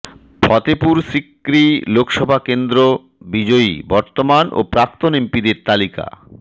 ফতেপুর সিক্রি লোকসভা কেন্দ্র বিজয়ী বর্তমান ও প্রাক্তন এমপিদের তালিকা